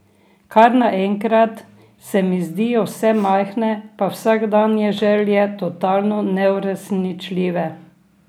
Kar naenkrat se mi zdijo vse majhne pa vsakdanje želje totalno neuresničljive.